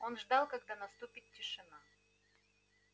он ждал когда наступит тишина